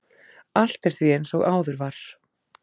Allt er því eins og áður var.